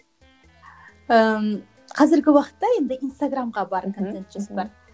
ііі қазіргі уақытта енді инстаграмға бар контент жоспар